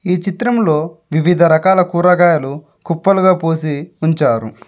ఈ చిత్రంలో వివిధ రకాల కూరగాయలు కుప్పలుగా పోసి ఉంచారు.